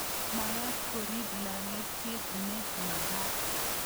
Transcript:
Magat korip lalangiet ne magat